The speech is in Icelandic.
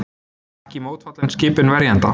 Ekki mótfallin skipun verjanda